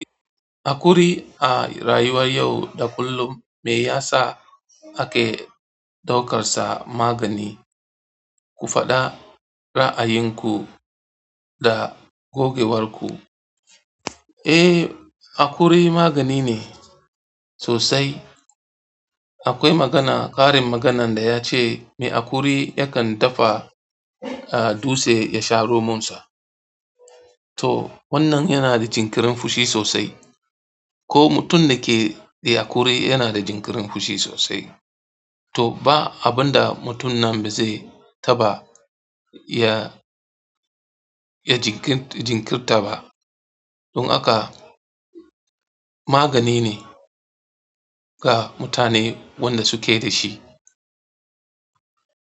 Haƙuri a rayuwar yau da kullum meyasa ake daukarsa magani. Ku faɗa ra'ayinku da gogewarku. Haƙuri maganine sosai akwai magana karin maganan dayace me haƙuri yakan dafa dutse a yasha romansa. To wannan yana da jinkirin fushi sosai. Ko mutum da ke da akuri yana da jinkirin fushi sosai. To ba abinda mutum nan bazai taɓa ya, ya jinkirta ba. Don haka maganine ga mutane wanda suke da shi.